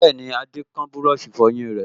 Bẹ́ẹ̀ni, Adé kán búrọ̀sì ìfọyín rẹ̀